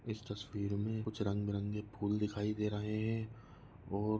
इस तस्वीर में कुछ रंगबिरंगे फूल दिखाई दे रहे है और--